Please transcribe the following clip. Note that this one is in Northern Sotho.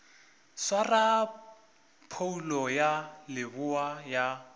swara phoulo ya leboa ya